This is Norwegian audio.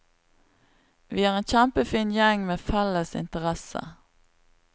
Vi er en kjempefin gjeng med felles interesse.